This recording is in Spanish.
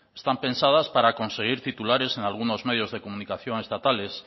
están pensadas para conseguir titulares en algunos medios de comunicación estatales